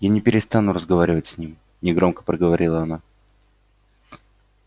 я не перестану разговаривать с ним негромко проговорила она